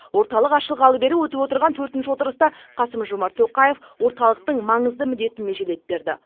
орталық ашылғалы бері өтіп отырған төртінші отырыста қасым жомарт тоқаев орталықтың маңызды міндетін межелеп берді